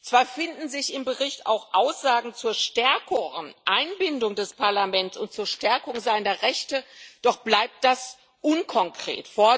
Zwar finden sich im Bericht auch Aussagen zur stärkeren Einbindung des Parlaments und zur Stärkung seiner Rechte, doch bleibt das unkonkret.